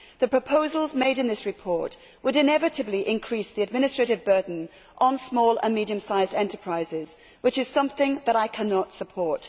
The proposals made in this report would inevitably increase the administrative burden on small and medium sized enterprises, which is something that I cannot support.